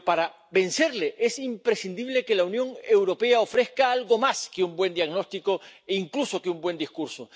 Pero para vencerle es imprescindible que la Unión Europea ofrezca algo más que un buen diagnóstico e incluso que un buen discurso.